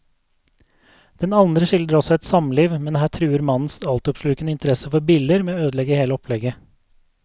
Den andre skildrer også et samliv, men her truer mannens altoppslukende interesse for biller med å ødelegge hele opplegget.